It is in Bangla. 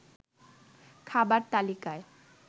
খাবার তালিকায়